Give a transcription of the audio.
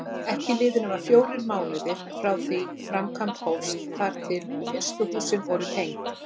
Ekki liðu nema fjórir mánuðir frá því framkvæmd hófst þar til fyrstu húsin voru tengd.